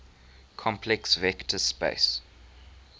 complex vector space